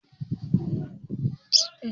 Manajan wannan bankin yana nan?